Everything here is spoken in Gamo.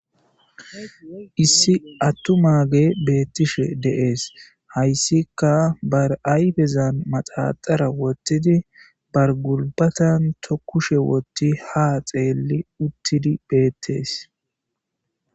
issi attu maage beettishe deees hayssika bar7ayfezan maxaxara wottidi bargulbatan tokushe wotti ha xeelli uttidi beettees